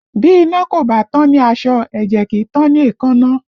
Bí iná kò bá tán ní aṣọ, ẹ̀jẹ̀ kì í tán ni èékánná